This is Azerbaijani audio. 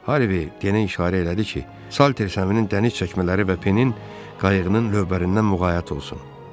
Harvi yenə işarə elədi ki, salter səminin dəniz çəkmələri və penin qayığının lövbərindən muğayat olsun.